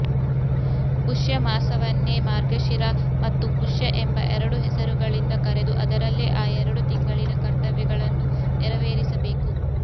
ಪುಷ್ಯಮಾಸವನ್ನೇ ಮಾರ್ಗಶಿರ ಮತ್ತು ಪುಷ್ಯ ಎಂಬ ಎರಡು ಹೆಸರುಗಳಿಂದ ಕರೆದು ಅದರಲ್ಲೇ ಆ ಎರಡು ತಿಂಗಳಿನ ಕರ್ತವ್ಯಗಳನ್ನು ನೆರವೇರಿಸಬೇಕು